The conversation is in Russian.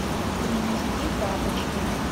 принести тапочки